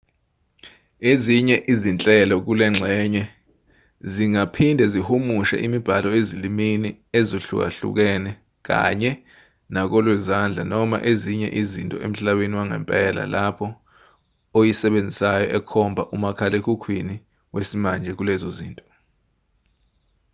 ezinye izinhlelo kulengxenye zingaphinde zihumushe imibhalo ezilimini ezihlukahlukene kanye nakolwezandla noma ezinye izinto emhlabeni wangempela lapho oyisebenzisayo ekhomba umakhalekhukhwini wesimanje kulezo zinto